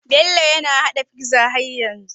Bello na hada pizza har yanzu